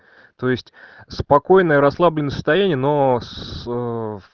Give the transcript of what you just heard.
то есть спокойное расслабленное состояние но с